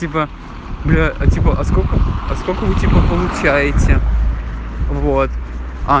типа бля а типа а скок а сколько вы типа получаете вот а